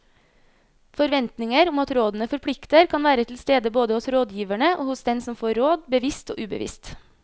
Forventninger om at rådene forplikter kan være til stede både hos rådgiverne og hos den som får råd, bevisst og ubevisst.